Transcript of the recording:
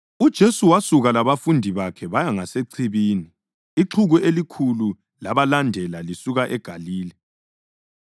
UJesu wasuka labafundi bakhe baya ngasechibini, ixuku elikhulu labalandela lisuka eGalile.